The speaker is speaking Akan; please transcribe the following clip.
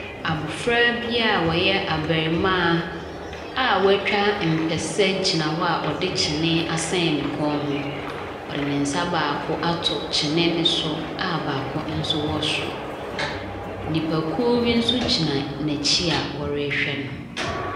Abofra bi ɔyɛ abarimaa a watwa mpɛsɛ gyina hɔ a ɔde kyenee asɛn ne kɔn ho. Ɔde ne nsa baako ato kyenee no so a baako nso wɔ soro. Nnipakuo nso gyina n'akyi a wɔrehwɛ no.